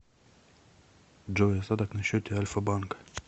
джой остаток на счете альфа банка